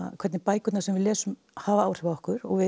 hvernig bækurnar sem við lesum hafa áhrif á okkur